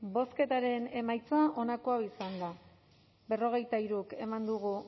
bozketaren emaitza onako izan da hirurogeita hamabost eman dugu